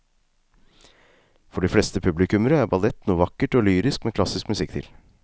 For de fleste publikummere er ballett noe vakkert og lyrisk med klassisk musikk til.